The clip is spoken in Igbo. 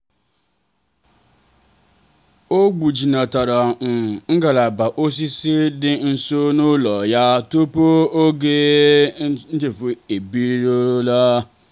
o gbujinatara um ngalaba osisi dị nsọ n'ụlọ ya tupu oge ifufe ebido.